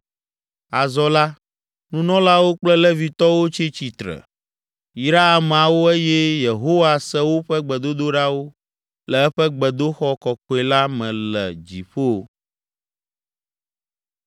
Azɔ la, nunɔlawo kple Levitɔwo tsi tsitre, yra ameawo eye Yehowa se woƒe gbedodoɖawo le eƒe gbedoxɔ kɔkɔe la me le dziƒo.